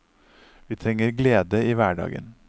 Vi trenger glede i hverdagen.